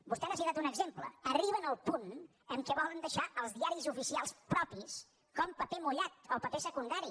vostè n’ha citat un exemple arriben al punt que volen deixar els diaris oficials propis com paper mullat o paper secundari